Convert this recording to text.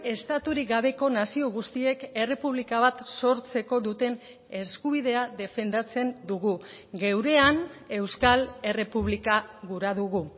estaturik gabeko nazio guztiek errepublika bat sortzeko duten eskubidea defendatzen dugu geurean euskal errepublika gura dugu